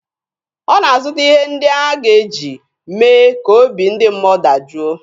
Ọ na-azụta ihe ndị a ga-eji mee ka obi ndị mmụọ dajụọ.